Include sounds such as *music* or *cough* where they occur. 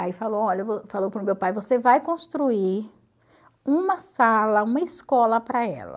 Aí falou olha *unintelligible* falou para o meu pai, você vai construir uma sala, uma escola para ela.